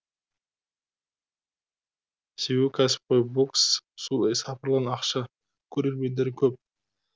себебі кәсіпқой бокс су сапырылған ақша көрермендері көп